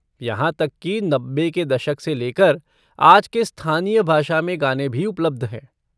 यहाँ तक कि नब्बे के दशक से लेकर आज के स्थानीय भाषा में गाने भी उपलब्ध हैं।